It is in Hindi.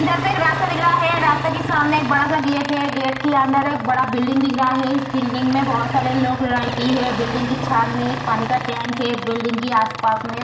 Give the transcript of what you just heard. इधर पे एक रास्ता दिख रहा है रास्ता के सामने एक बड़ा सा गेट है गेट के अंदर एक बड़ा बिल्डिंग दिख रहा है इस बिल्डिंग में बहुत सारे लोग रहती है बिल्डिंग कि छान में एक पानी का टैंक हैं बिल्डिंग कि आस पास में --